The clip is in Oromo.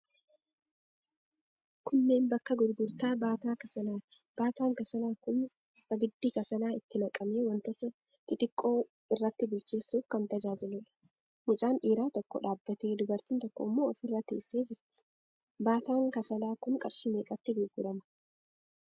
Kunneen bakka gurgurtaa baataa kasalaati. Baataan kasalaa kun abiddi kasalaa itti naqamee wantoota xixiqqoo irratti bilcheessuuf kan tajaajiluudha. Mucaan dhiiraa tokko dhaabbatee, dubartiin tokko immoo ofirra teessee jirti. Baataan kasalaa kun qarshii meeqatti gurgurama?